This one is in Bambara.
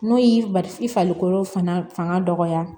N'o y'i bali i farikolo fanga dɔgɔya